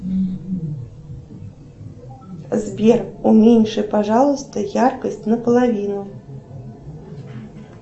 сбер уменьши пожалуйста яркость наполовину